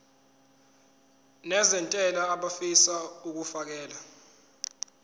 nezentela abafisa uukfakela